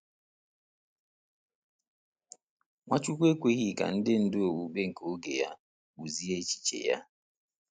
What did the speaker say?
Nwachukwu ekweghị ka ndị ndu okpukpe nke oge ya kpụzie echiche ya.